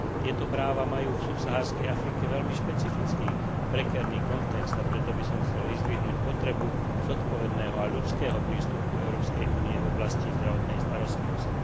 Tieto práva majú v subsaharskej Afrike veľmi špecifický a prekérny kontext, a preto by som chcel vyzdvihnúť potrebu zodpovedného a ľudského prístupu Európskej únie v oblasti zdravotnej starostlivosti.